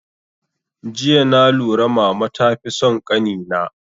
Jiya na lura mama ta fi son kani na